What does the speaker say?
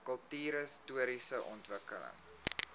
kultuurhis toriese omgewing